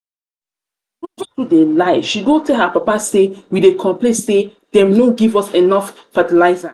rose too dey lie she go tell her papa say um we dey complain say dem no um give us enough um fertilizer